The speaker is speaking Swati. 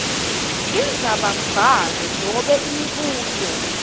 indzabambhalo nobe imibuto